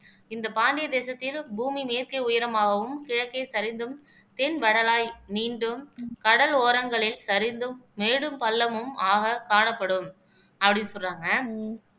இந்த பாண்டிய தேசத்தில் பூமி மேற்கே உயரமாகவும் கிழக்கே சரிந்தும் தென் வரலாய் நீண்டும் கடல் ஓரங்களில் சரிந்தும் மேடும் பள்ளமும் ஆக காணப்படும் அப்படீன்னு சொல்றாங்க